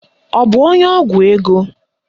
Ọ bụ onye ọgwụ ego?